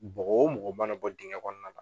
Bogo o mɔgɔ mana bɔ digɛn kɔnɔna na